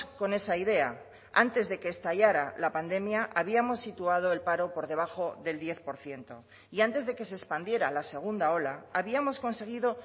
con esa idea antes de que estallara la pandemia habíamos situado el paro por debajo del diez por ciento y antes de que se expandiera la segunda ola habíamos conseguido